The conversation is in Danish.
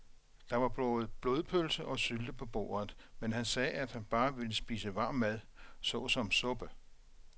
Der var både blodpølse og sylte på bordet, men han sagde, at han bare ville spise varm mad såsom suppe.